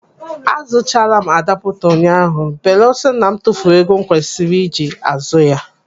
Azụchaala m adaaputa ụnyaahụ belusọ na m tufuru ego m kwesiri iji azụ ya.